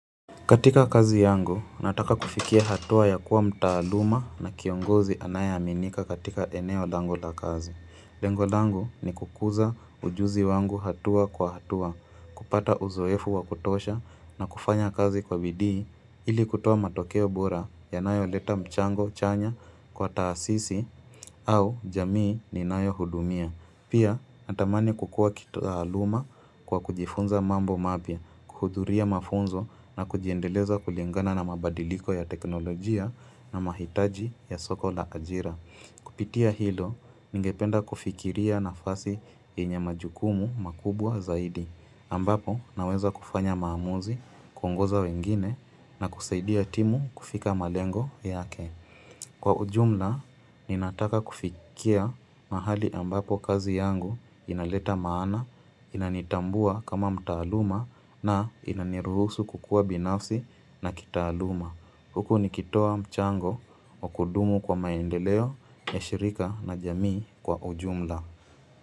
Katika kazi yangu, nataka kufikia hatua ya kuwa mtaaluma na kiongozi anayeminika katika eneo langu la kazi. Lengo lango ni kukuza ujuzi wangu hatua kwa hatua, kupata uzoefu wakutosha na kufanya kazi kwa bidii ili kutoa matokeo bora yanayo leta mchango chanya kwa taasisi au jamii ninayo hudumia. Pia, natamani kukua kituaaluma kwa kujifunza mambo mapya, kuhudhuria mafunzo na kujiendeleza kulingana na mabadiliko ya teknolojia na mahitaji ya soko la ajira. Kupitia hilo, ningependa kufikiria nafasi yenye majukumu makubwa zaidi. Ambapo, naweza kufanya maamuzi, kungoza wengine na kusaidia timu kufika malengo yake. Kwa ujumla, ninataka kufikia mahali ambapo kazi yangu inaleta maana, inanitambua kama mtaaluma na inaniruhusu kukua binafsi na kitaaluma. Huku nikitoa mchango wa kudumu kwa maendeleo ya shirika na jamii kwa ujumla.